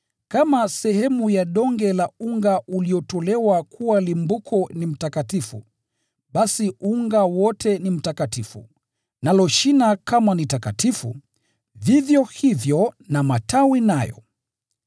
Kama sehemu ya donge la unga uliotolewa kuwa limbuko ni mtakatifu, basi unga wote ni mtakatifu, nalo shina kama ni takatifu, vivyo hivyo na matawi nayo.